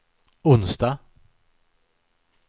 onsdag